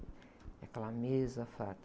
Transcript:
E aquela mesa farta.